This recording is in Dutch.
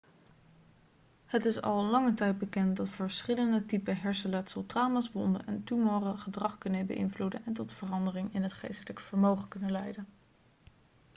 het is al lange tijd bekend dat verschillende typen hersenletsel trauma's wonden en tumoren gedrag kunnen beïnvloeden en tot veranderingen in het geestelijke vermogen kunnen leiden